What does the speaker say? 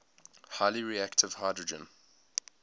highly reactive hydrogen